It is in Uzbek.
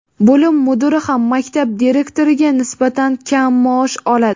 bo‘lim mudiri ham maktab direktoriga nisbatan kam maosh oladi.